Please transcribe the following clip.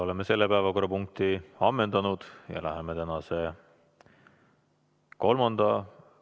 Oleme selle päevakorrapunkti ammendanud ja läheme tänase kolmanda ...